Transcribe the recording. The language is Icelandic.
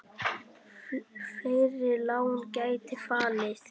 Fleiri lán gætu fallið.